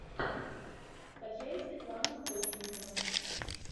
скачай светлана ходченкова